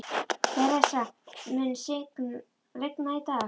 Theresa, mun rigna í dag?